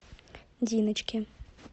диночке